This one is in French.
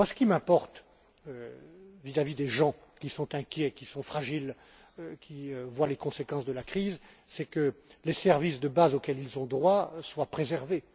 Ce qui m'importe vis à vis des gens qui sont inquiets, qui sont fragiles, qui voient les conséquences de la crise, c'est que les services de base auxquels ils ont droit soient préservés.